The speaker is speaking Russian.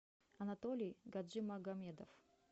анатолий гаджимагомедов